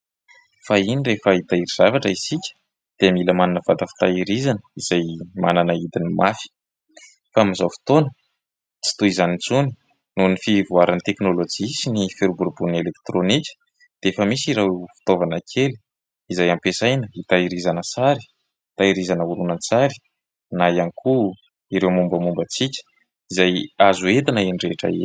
Fahiny rehefa hitahiry zavatra isika dia mila manana vata fitahirizana izay manana hidiny mafy. Fa amin'izao fotoana tsy toy izany intsony nohon'ny fivoaran'ny teknolojia sy ny firoborobon'ny elektraonika dia efa misy ireo fitaovana kely izay ampiasaina hitahirizana sary, hitahirizana oronan-tsary na ihany koa ireo mombamomba antsika izay azo entina eny rehetra eny.